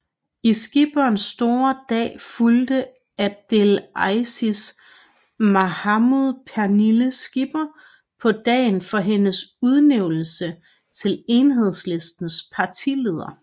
I Skippers store dag fulgte Abdel Aziz Mahmoud Pernille Skipper på dagen for hendes udnævnelse til Enhedslistens partileder